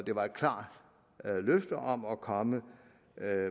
var et klart løfte om at komme med